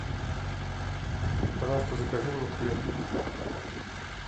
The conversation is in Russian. пожалуйста закажи мне хлеб